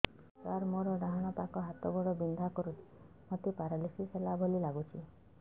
ସାର ମୋର ଡାହାଣ ପାଖ ହାତ ଗୋଡ଼ ବିନ୍ଧା କରୁଛି ମୋତେ ପେରାଲିଶିଶ ହେଲା ଭଳି ଲାଗୁଛି